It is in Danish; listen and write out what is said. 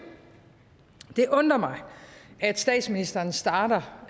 det undrer mig at statsministeren starter